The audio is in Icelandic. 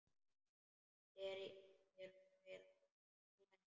Er þér hætt að blæða?